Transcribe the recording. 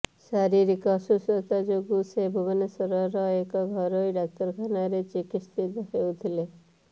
ଶାରୀରିକ ଅସୁସ୍ଥତା ଯୋଗୁଁ ସେ ଭୁବନେଶ୍ୱରର ଏକ ଘରୋଇ ଡାକ୍ତରଖାନାରେ ଚିକିତ୍ସିତ ହେଉଥିଲେ